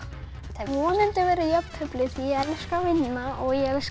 vonandi verður jafntefli því ég elska að vinna og ég elska